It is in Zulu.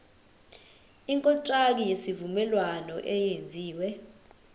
ikontraki yesivumelwano eyenziwe